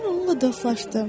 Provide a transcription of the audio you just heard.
Mən onunla dostlaşdım.